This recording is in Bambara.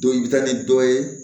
Dɔ i bɛ taa ni dɔ ye